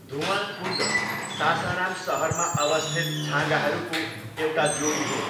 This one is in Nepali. धुवाँ कुण्ड सासाराम सहरमा अवस्थित छाँगाहरूको एक जोडी हो।